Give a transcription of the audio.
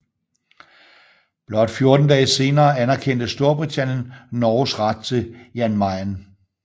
Blot 14 dage senere anerkendte Storbritannien Norges ret til Jan Mayen